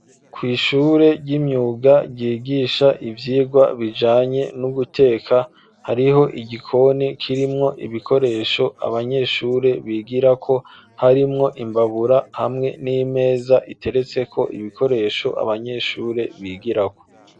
Kw'ishure ry'imyuga ryigisha ivyigwa bijanye no guteka hariho igikoni kirimwo ibikoresho abanyeshure bigira ko harimwo imbabura hamwe n'imeza iteretse ko ibikoresho abanyeshure bigirako.